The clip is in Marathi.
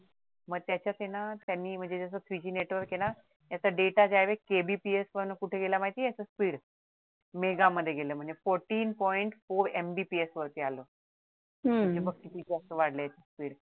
मग त्याच्यात आहे त्यांनी म्हणजे जस three G नेटवर्क आहे ना त्याचा डेटा त्यावेळेस KBPS वरन कुठे गेला माहिती आहे तो speed मेघा मध्ये गेला म्हणजे fourteen point four MBPS वरती आला म्हणजे बघ किती जास्त वाढला speed